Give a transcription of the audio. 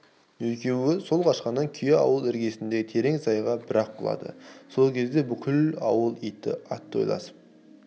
екеуі сол қашқан күйі ауыл іргесіндегі терең сайға бір-ақ құлады бұл кезде бүкіл ауыл иті атойласып